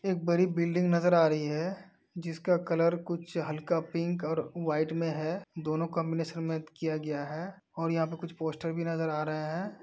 एक बड़ी बिल्डिंग नजर आ रही है। जिसका कलर कुछ हल्का पिंक और व्हाइट में है। दोनों काम्बनैशन मैच किया गया है। और यहाँ पर कुछ पोस्टर भी नजर आ रहे हैं।